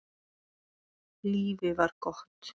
Lífið var gott.